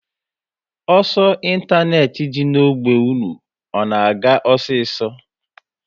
Ọsọ ịntanetị dị n'ogbe unu, ọ na-aga osiso?